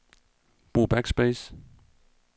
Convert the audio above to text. Brug backspace.